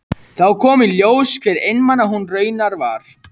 Þá kom í ljós hve einmana hún raunar var.